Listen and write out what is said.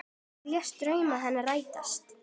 Þú lést drauma hennar rætast.